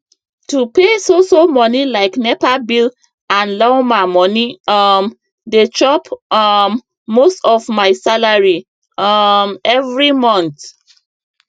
to pay so so money like nepa bill and lawma money um dey chop um most of my salary um every month